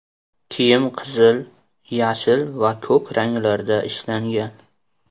Kiyim qizil, yashil va ko‘k ranglarda ishlangan.